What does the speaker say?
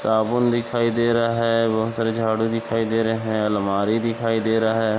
साबुन दिखाई दे रहा है बहुत सारी झाड़ू दिखाई दे रहे हैं अलमारी दिखाई दे रहा है।